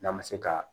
N'an ma se ka